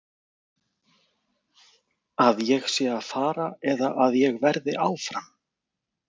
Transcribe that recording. Að ég sé að fara eða að ég verði áfram?